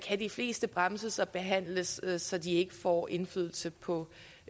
de fleste bremses og behandles så de ikke får indflydelse på